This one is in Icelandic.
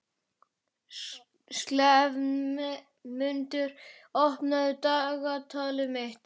slefmundur, opnaðu dagatalið mitt.